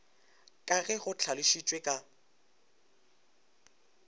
ka ge go hlalošitšwe ka